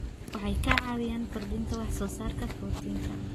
Waxay ka caawiyaan kordhinta wax soo saarka borotiinka.